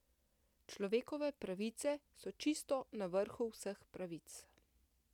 Človekove pravice so čisto na vrhu vseh pravic.